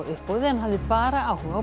uppboði en hafði bara áhuga á